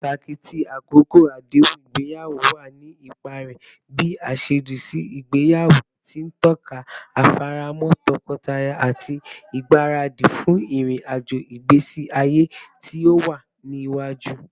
Pataki ti akoko adehun igbeyawo wa ni ipa rẹ bi aṣaaju si igbeyawo, ti n tọka ifaramo tọkọtaya ati igbaradi fun irin-ajo igbesi aye ti o wa niwaju.